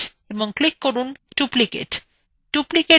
duplicate dialog box দেখা যাচ্ছে